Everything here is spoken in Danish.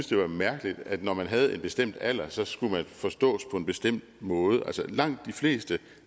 det var mærkeligt at man når man havde en bestemt alder så skulle forstås på en bestemt måde langt de fleste